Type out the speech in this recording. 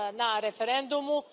na referendumu.